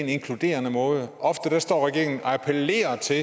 inkluderende måde ofte står regeringen og appellerer til